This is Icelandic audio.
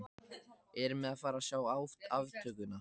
Erum við að fara að sjá aftökuna?